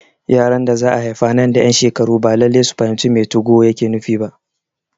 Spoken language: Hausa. Yaran da za'a haifa nan da ƴan shekaru ba Lallai su fahimci me 2go yake nufi ba